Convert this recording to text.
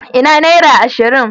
Ina naira ashirin?